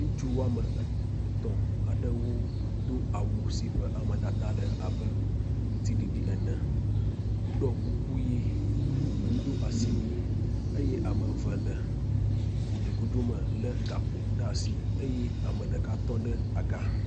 ŋutsu woame etɔ̃ aɖewo si dó awu si ƒe amedada le abe ŋtiɖiɖi ene woɖó kuku yi wodó asiwui eye ameve le gudugudu me le gakpo ɖeasi eye ameɖeka tɔ́ ɖe agà